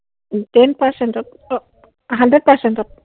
ten percent ত, অ’, hundred percent ত।